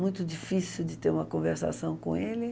Muito difícil de ter uma conversação com ele.